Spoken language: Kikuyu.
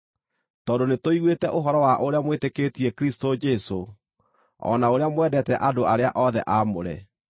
tondũ nĩtũiguĩte ũhoro wa ũrĩa mwĩtĩkĩtie Kristũ Jesũ, o na ũrĩa mwendete andũ arĩa othe aamũre,